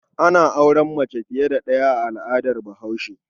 Ana auren mace fiye da ɗaya a al'adar Bahaushe.